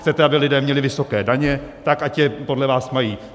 Chcete, aby lidé měli vysoké daně, tak ať je podle vás mají.